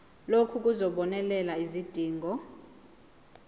lokhu kuzobonelela izidingo